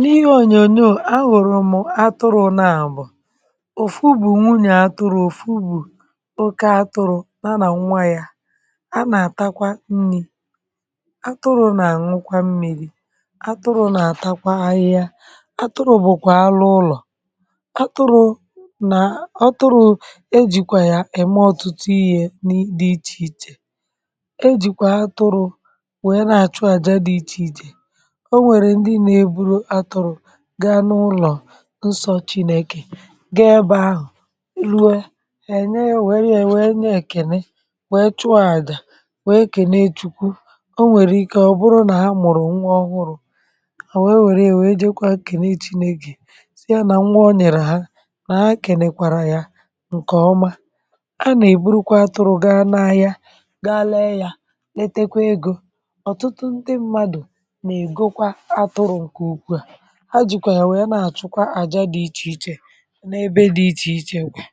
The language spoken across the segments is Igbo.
n’ihe ònyònyò ahụ̀rụ̀ mụ atụrụ̇ na àbụ̀ ọ̀ fụgbù nwunyè atụrụ̇ ọ̀ fụgbù oke atụrụ̇ na nà nwa yȧ a nà àtakwa nni̇ atụrụ̇ nà nwukwa mmiri̇ atụrụ̇ nà àtakwa ahịhịa atụrụ̇ bụ̀kwà alụ ụlọ̀ atụrụ̇ nà atụrụ̇ ejìkwà yà ème ọtụtụ ihė n’iti ichè ejìkwà atụrụ̇ nwèe na àchụàjà dị ichè ichè gà n’ụlọ̀ nsọ̇ chinėkè gaa ebe ahụ̀ ruo è nyee yȧ wère yȧ wee nyee kìnị wèe chụọ àjà wèe kìnị chụkwu o nwèrè ike ọ̀ bụrụ nà ha mụ̀rụ̀ nwa ọhụrụ̇ mà wèe wère ya wèe jekwa kìnị chinėkè sị yȧ nà nwa ọ nyèrè ha nà ha kinekwàrà yȧ ǹkèọma a nà-èburukwa atụrụ̇ gaa n’ahịa gaa lee yȧ letekwa egȯ ọ̀tụtụ ndị mmadụ̀ nà-ègokwa atụrụ̇ a jìkwà yà wèe na-àchụkwa àya dị̇ ichèichè n’ebe dị̇ ichèichè kwà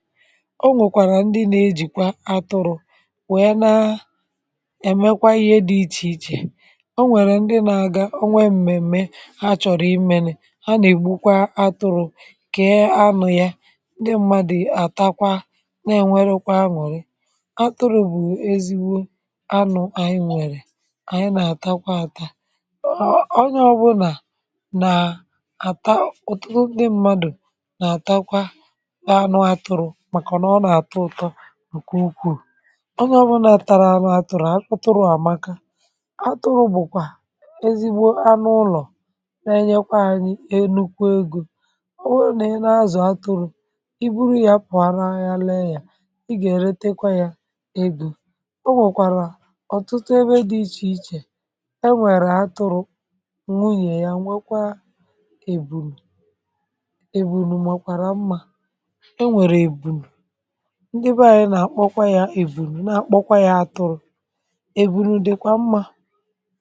o nwèkwàrà ndị na-ejìkwa atụrụ̇ wèe na-ẹ̀mẹkwa ihe dị̇ ichèichè o nwèrè ndị na-aga o nwee m̀mèm̀me ha chọ̀rọ̀ imėnị̇ ha nà-ègbukwa atụrụ̇̇ kèe anụ̇ ya ndị mmadụ̀ àtakwa na-ènwere kwa aṅụ̀rị atụrụ̇̇ bụ̀ ezi̇wụ̇ aṅụ̀ ànyị nwèrè ànyị na-àtakwa ata ǹààta ọ̀tụtụ ndị mmadù nà-àtakwa anụ atụrụ̇ màkà nà ọ nà-àtọ ụ̀tọ ǹkù ukwuù onye ọ̇bụlà tàrà anụ àtụrụ̇ atụrụ̇ àmaka atụrụ̇ bụ̀kwà ezigbo anụ ụlọ̀ na-enyekwa anyị elu̇kwȧ egȯ ọ wuene n’azụ̀ atụrụ̇ i buru yȧ pụ̀ọ ara aha lee yȧ ị gà èretekwa yȧ egȯ o nwèkwàrà ọ̀tụtụ ebe dị ichè ichè e nwèrè atụrụ̇ èbùnù màkwàra mmȧ e nwèrè èbùnù ndị ebe anyị nà-àkpọkwa ya èbùnù na-akpọkwa ya atụrụ èbùnù dịkwa mmȧ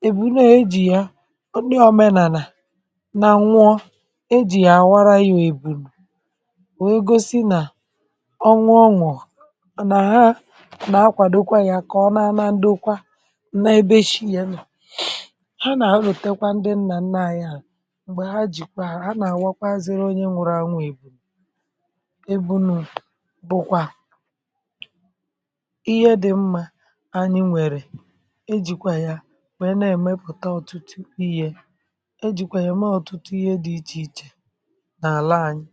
èbùnù e jì ya ọ na omenànà na nwụọ e jì yà àwara ya èbùnù wee gosi nà ọ nwụ ọnwụ̇ nà ha nà-akwàdokwa ya kà ọ naana ndị kwa nna ebe chi ya nà ha nà-ewetekwa ndị nnà nna anyị m̀gbè ha jìkwàrà ha nà-àwakwa ziri onye nwụrụ ànwụ̇ ìbùrù e bụnụ̇ bụkwa ihe dị̇ mmȧ anyị nwèrè e jìkwà yȧ nwèe na-èmepùta ọ̀tụtụ ihe e jìkwà yà ème ọ̀tụtụ ihe dị̇ ichè ichè nà àla anyị